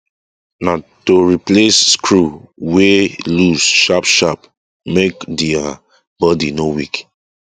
na to replace replace screw wey loose sharp sharp make the um body no weak